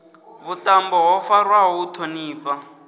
vhuṱambo ho farwaho u ṱhonifha